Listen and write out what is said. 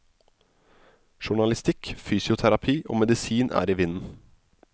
Journalistikk, fysioterapi og medisin er i vinden.